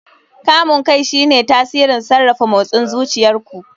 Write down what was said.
Kamun kai shine tsarin sarrafa motsin zuciyar ku.